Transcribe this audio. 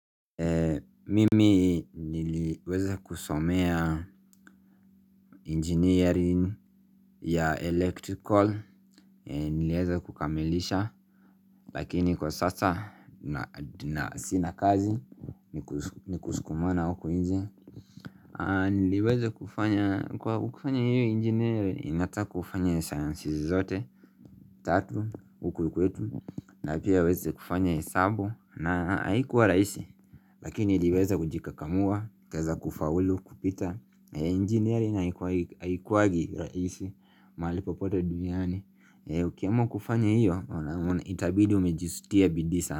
Mimi niliweza kusomea engineering ya electrical, niliweza kukamilisha, lakini kwa sasa na sina kazi, ni kusukumana huku nje. Niliweza kufanya, kwa kufanya hiyo engineering, inataka kufanya sciences zote. Dhati, huku kwetu, na pia weza kufanya hesabu, na haikuwa rahisi Lakini nliweza kujikakamua, kawezaku faulu, kupita engineering nayo haikuangi rahisi mahali popote duniani uki amua kufanya hiyo, itabidi umesjitia bidii.